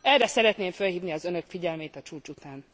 Erre szeretném fölhívni az Önök figyelmét a csúcs után.